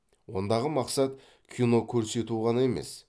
ондағы мақсат кино көрсету ғана емес